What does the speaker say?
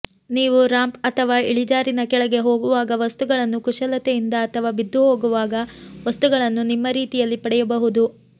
ನೀವು ರಾಂಪ್ ಅಥವಾ ಇಳಿಜಾರಿನ ಕೆಳಗೆ ಹೋಗುವಾಗ ವಸ್ತುಗಳನ್ನು ಕುಶಲತೆಯಿಂದ ಅಥವಾ ಬಿದ್ದು ಹೋಗುವಾಗ ವಸ್ತುಗಳನ್ನು ನಿಮ್ಮ ರೀತಿಯಲ್ಲಿ ಪಡೆಯಬಹುದು